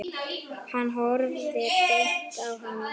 Hann horfði beint á hana.